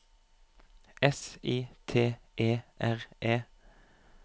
S I T E R E